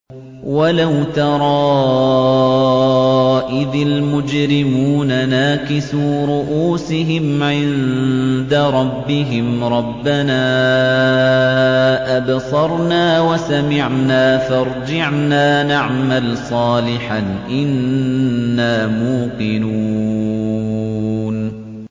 وَلَوْ تَرَىٰ إِذِ الْمُجْرِمُونَ نَاكِسُو رُءُوسِهِمْ عِندَ رَبِّهِمْ رَبَّنَا أَبْصَرْنَا وَسَمِعْنَا فَارْجِعْنَا نَعْمَلْ صَالِحًا إِنَّا مُوقِنُونَ